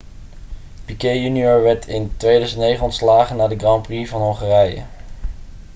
piquet jr werd in 2009 ontslagen na de grand prix van hongarije